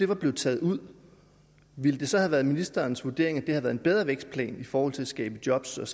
var blevet taget ud ville det så have været ministerens vurdering at været en bedre vækstplan i forhold til at skabe jobs og